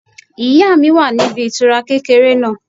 Ìyá mi wà níbi ìtura kékeré náà